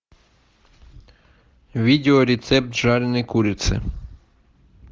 видео рецепт жареной курицы